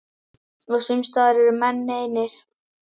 Og sums staðar eru menn einir.